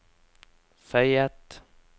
føyet